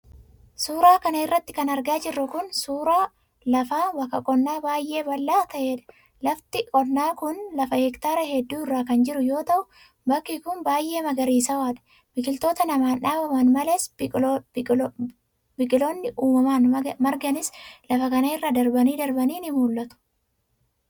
Suura kana irratti kan argaa jirru kun, suura lafa bakka qonnaa baay'ee bal'aa ta'ee dha. Lafti qonnaa kun, lafa heektaara hedduu irra kan jiru yoo ta'u, bakki kun baay'ee magariisawaadha. Biqiloota namaan dhaabaman malees, biqoolli uumamaan marganiis lafa kana irra darbanii darbanii ni mul'atu.